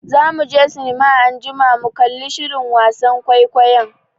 Za muje sinima anjima mu kalli shirin wasan kwaikwayon.